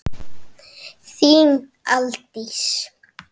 Þín Aldís.